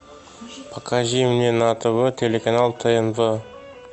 покажи мне на тв телеканал тнв